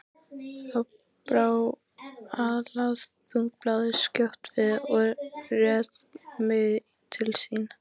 Þá brá Alþýðublaðið skjótt við og réð mig til sín.